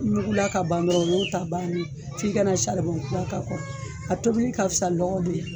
Nugula ka ban dɔrɔn o y'o ta bannen ye, f'i ka na kura k'a kɔrɔ, a tobili ka fisa lɔgɔ de la